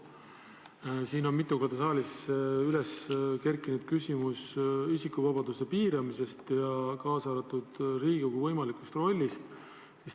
Siin saalis on mitu korda üles kerkinud küsimus isikuvabaduste piiramisest ja Riigikogu võimalikust rollist.